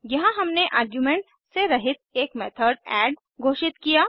यहाँ हमने आर्ग्यूमेंट्स से रहित एक मेथड एड घोषित किया